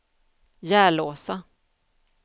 Järlåsa